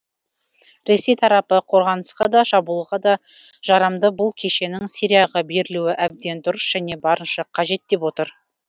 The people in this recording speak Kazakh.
ресей тарапы қорғанысқа да шабуылға да жарамды бұл кешеннің сирияға берілуі әбден дұрыс және барынша қажет деп отыр